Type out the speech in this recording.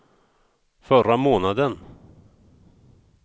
förra månaden